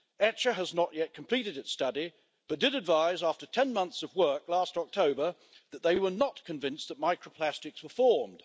ECHA has not yet completed its study, but did advise after ten months of work last October that they were not convinced that microplastics were formed.